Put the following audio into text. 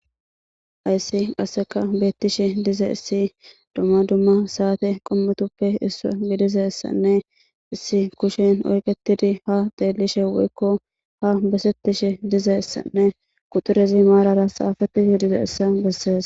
Hayssi qasseka beettishe dize issi dumma dumma saate qommutuppe issu gidizessanne issi kushin orketidi ha deelishe woykko ha besettishe dizeessanne qutorezi maarara xaafetishe dize issa bessees.